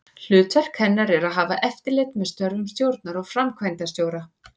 Hlutverk hennar er að hafa eftirlit með störfum stjórnar og framkvæmdastjóra.